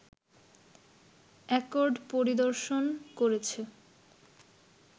accord পরিদর্শন করেছে